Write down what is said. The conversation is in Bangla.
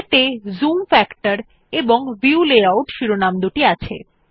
এতে জুম ফ্যাক্টর এবং ভিউ লেআউট শিরোনামদুটি আছে